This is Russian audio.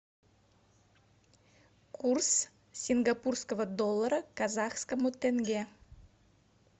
курс сингапурского доллара к казахскому тенге